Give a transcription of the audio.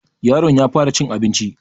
yaron ya fara cin abinci